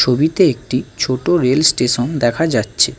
ছবিতে একটি ছোট রেল স্টেশন দেখা যাচ্ছে।